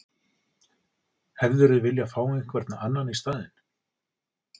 Hefðirðu vilja fá einhvern annan í staðinn?